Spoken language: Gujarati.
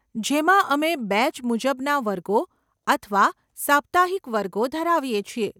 જેમાં અમે બેચ મુજબના વર્ગો અથવા સાપ્તાહિક વર્ગો ધરાવીએ છીએ.